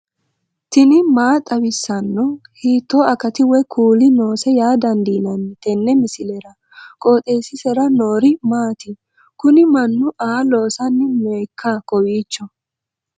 tini maa xawissanno ? hiitto akati woy kuuli noose yaa dandiinanni tenne misilera? qooxeessisera noori maati? kuni mannu aa loosanni nooikka kowiicho